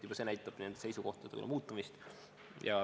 Juba see näitab nende seisukohtade muutumist.